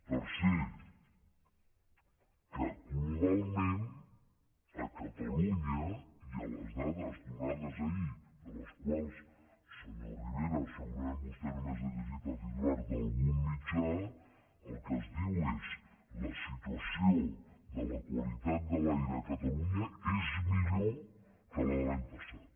tercer que globalment a catalunya i a les dades donades ahir de les quals senyor rivera segurament vostè només ha llegit el titular d’algun mitjà el que es diu és la situació de la qualitat de l’aire a catalunya és millor que la de l’any passat